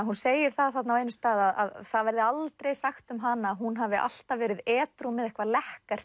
hún segir það þarna á einum stað að það verði aldrei sagt um hana að hún hafi alltaf verið edrú með eitthvað